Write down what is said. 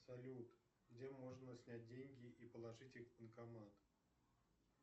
салют где можно снять деньги и положить их в банкомат